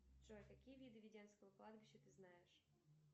джой какие виды введенского кладбища ты знаешь